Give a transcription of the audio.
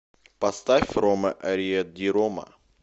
поставь рома ариа ди рома